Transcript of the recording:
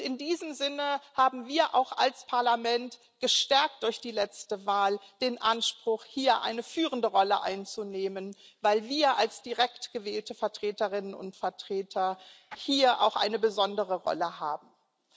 In diesem Sinne haben wir auch als Parlament gestärkt durch die letzte Wahl den Anspruch, hier eine führende Rolle einzunehmen, weil wir als direkt gewählte Vertreterinnen und Vertreter hier auch eine besondere Rolle spielen.